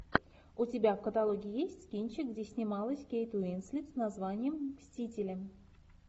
у тебя в каталоге есть кинчик где снималась кейт уинслет с названием мстители